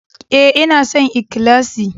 Ee, ina son ikhlasi.